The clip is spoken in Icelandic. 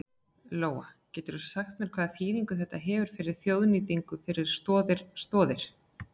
Lóa: Geturðu sagt mér hvaða þýðingu þetta hefur þessi þjóðnýting fyrir Stoð Stoðir?